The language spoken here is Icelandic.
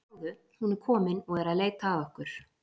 Sjáðu, hún er komin og er að leita að okkur.